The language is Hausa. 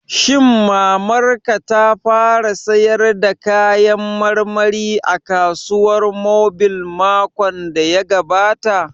Shin Mamar ka ta fara sayar da kayan marmari a kasuwar mobile makon da ya gabata?